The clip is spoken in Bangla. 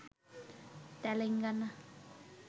তেলেঙ্গানা